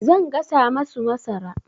Zan gasa masu masara.